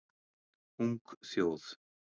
Ung þjóð